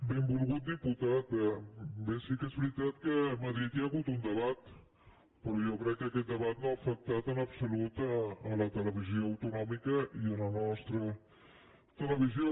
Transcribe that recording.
benvolgut diputat bé sí que és ve·ritat que a madrid hi ha hagut un debat però jo crec que aquest debat no ha afectat en absolut la televisió autonòmica i la nostra televisió